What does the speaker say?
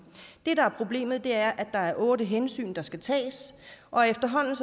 det der er problemet er at der er otte hensyn der skal tages og efterhånden